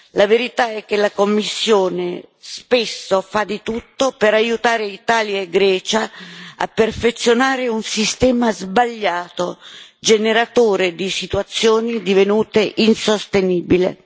La verità è che la Commissione spesso fa di tutto per aiutare Italia e Grecia a perfezionare un sistema sbagliato, generatore di situazioni divenute insostenibili.